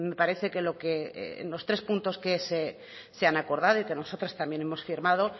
parece que los tres puntos que se han acordado y que nosotras también hemos firmado